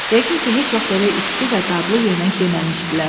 Yəqin ki, heç vaxt belə isti və dadlı yemək yeməmişdilər.